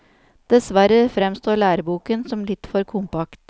Dessverre fremstår læreboken som litt for kompakt.